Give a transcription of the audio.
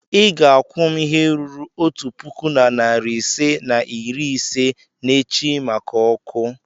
ị ga-akwụ m ihe ruru otu puku na narị ise na iri ise n'echi maka ọkụ.